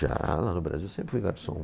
Já, lá no Brasil sempre fui garçom.